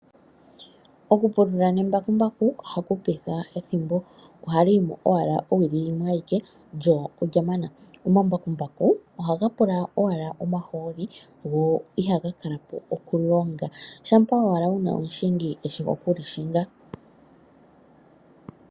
Okupulula nembakumbaku ohaku hupitha ethimbo oshoka ohali yi mo owala owili yimwe lyo olya mana. Omambakumbaku ohaga pula owala omahooli go ihaga kalapo okulonga unene uuna wu na omuntu eshi okuli hinga.